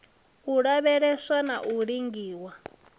u lavheleswa na u lingiwa